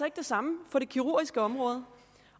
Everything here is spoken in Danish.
ikke det samme på det kirurgiske område